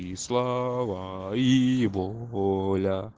и слава и воля